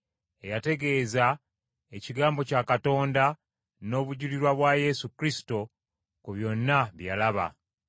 eyategeeza ekigambo kya Katonda n’obujulirwa bwa Yesu Kristo ku byonna bye yalaba.